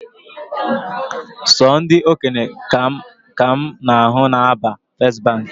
Sọ ndị okenye ka mụ na ahụ na aba first Baankị